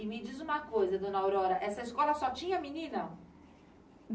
E me diz uma coisa, dona Aurora, essa escola só tinha menina?